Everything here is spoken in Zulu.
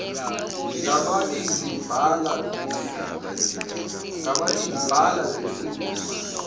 ngamabili bhala ngesingisi